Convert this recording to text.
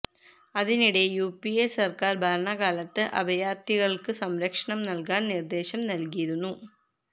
അതിനിടെ യുപിഎ സര്ക്കാര് ഭരണകാലത്ത് അഭയാര്ത്ഥികള്ക്ക് സംരക്ഷണം നല്കാന് നിര്ദ്ദേശം നല്കിയിരുന്നു